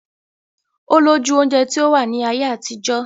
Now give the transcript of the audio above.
Olójú oúnjẹ tí ó wà ní ayé àtijọ́